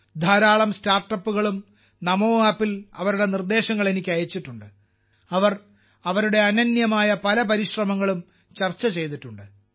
ധാരാളം സ്റ്റാർട്ടപ്പുകളും നമോ ആപ്പിൽ അവരുടെ നിർദ്ദേശങ്ങൾ എനിക്ക് അയച്ചിട്ടുണ്ട് അവർ അവരുടെ അനന്യമായ പല ശ്രമങ്ങളും ചർച്ച ചെയ്തിട്ടുണ്ട്